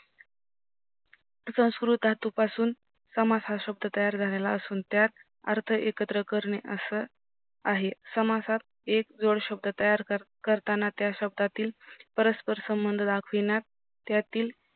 संस्कृत हा पासून समास हा शब्द तयार झालेला असून त्यात अर्थ एकत्र करणे असं आहे. समासात एक जोड शब्द तयार करताना त्या शब्दातील परस्पर संबंध दाखविण्यात त्यातील